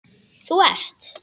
Þú ert